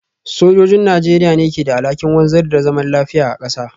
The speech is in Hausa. Sojojin Najeriya ne ke da alhakin wanzar da zaman lafiya a kasa.